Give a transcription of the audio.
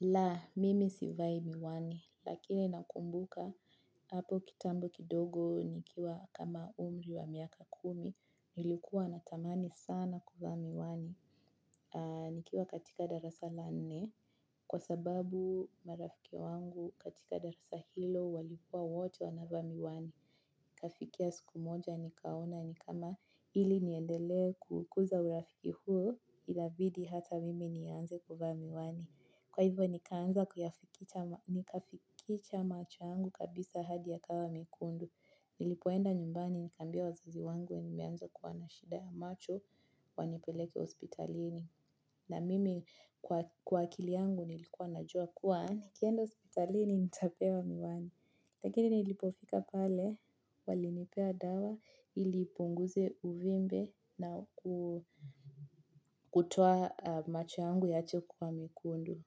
La, mimi sivai miwani, lakini nakumbuka, hapo kitambo kidogo, nikiwa kama umri wa miaka kumi, nilikuwa natamani sana kuvaa miwani. Nikiwa katika darasa la nne, kwa sababu marafiki wangu katika darasa hilo walikua wote wanavaa miwani. Ikafikia siku moja nikaona ni kama ili niendelee kukuza urafiki huo, itabidi hata mimi nianze kuvaa miwani. Kwa hivyo nikaanza kuyafikicha macho yangu kabisa hadi ya kawa mekundu. Nilipoenda nyumbani nikaambia wazazi wangu nimeanza kuwa na shida ya macho wanipeleke hospitalini. Na mimi kwa akili yangu nilikuwa na jua kuwa nikienda hospitalini nitapewa miwani. Lakini nilipofika pale walinipea dawa ili ipunguze uvimbe na kutoa macho yangu yaache kuwa mekundu.